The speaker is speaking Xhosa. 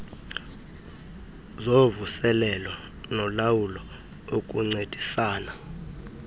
zovuselelo nolawulo ukuncedisana